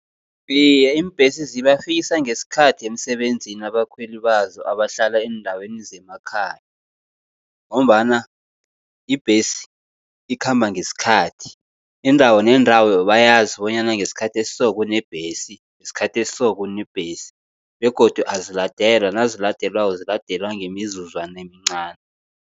Iye, iimbhesi zibafikisa ngesikhathi emsebenzini abakhweli bazo abahlala eendaweni zemakhaya, ngombana ibhesi ikhamba ngesikhathi. Indawo nendawo bayazi bonyana ngesikhathi esiso kunebhesi, ngesikhathi esiso kunebhesi. Begodu aziladelwa, naziladelwako ziladelwa ngemizuzwana emincani.